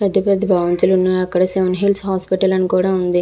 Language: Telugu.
పెద్ద పెద్ద భవంతులు ఉన్నాయి అక్కడ సెవెన్ హిల్స్ హాస్పిటల్ అని కూడా ఉంది .